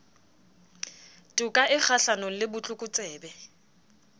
toka e kgahlanong le botlokotsebe